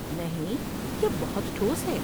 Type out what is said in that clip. نہیں، یہ بہت ٹھوس ہے۔